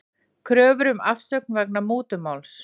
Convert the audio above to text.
Kröfur um afsögn vegna mútumáls